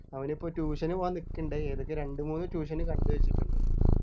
അവനിപ്പോ tuition നു പോകാൻ നിക്കുണ്ട് ഏതൊക്കെ രണ്ടുമൂന്നു tuition കണ്ടു വച്ചിട്ടുണ്ട്